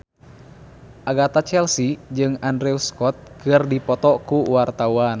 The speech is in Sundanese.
Agatha Chelsea jeung Andrew Scott keur dipoto ku wartawan